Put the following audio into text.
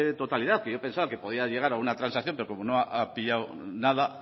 totalidad que yo pensaba que podía llegar a una transacción pero como no ha pillado nada